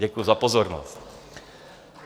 Děkuji za pozornost.